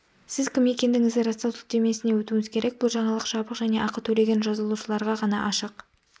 сіз кім екендігіңізді растау сілтемесіне өтуіңіз керек бұл жаңалық жабық және ақы төлеген жазылушыларға ғана ашық